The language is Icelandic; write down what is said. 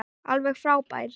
Alveg frábær.